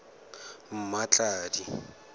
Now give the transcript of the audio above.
mmatladi